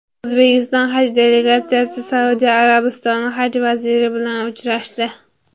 O‘zbekiston Haj delegatsiyasi Saudiya Arabistoni Haj vaziri bilan uchrashdi.